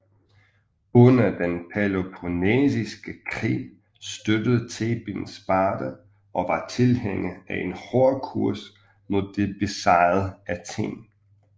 Under den Peloponnesiske Krig støttede Theben Sparta og var tilhænger af en hård kurs mod det besejrede Athen